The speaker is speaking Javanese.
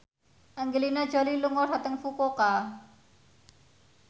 Angelina Jolie lunga dhateng Fukuoka